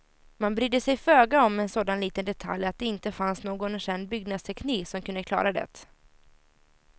Man brydde sig föga om en sådan liten detalj att det inte fanns någon känd byggnadsteknik som kunde klara det.